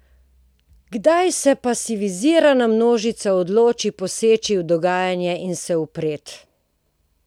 Kdaj se pasivizirana množica odloči poseči v dogajanje in se upreti?